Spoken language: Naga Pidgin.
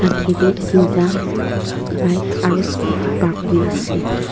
akae tae teenta bike aro scooty park kurna ase.